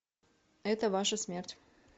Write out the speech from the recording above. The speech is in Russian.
это ваша смерть